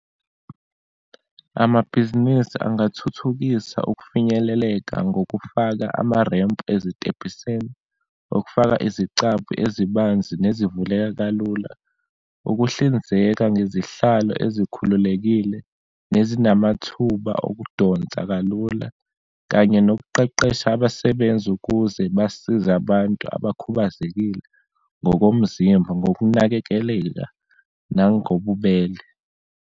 Amabhizinisi angathuthukisa ukufinyeleleka ngokufaka amarempu ezitebhisini, ukufaka izicabha ezibanzi nezivuleka kalula, ukuhlinzeka ngezihlalo ezikhululekile, nezinamathuba okudonsa kalula, kanye nokuqeqesha abasebenzi ukuze basize abantu abakhubazekile ngokomzimba ngokunakekeleka nangobubele.